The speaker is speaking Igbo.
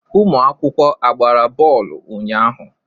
Ụmụ akwụkwọ agbara bọọlụ unyaahụ?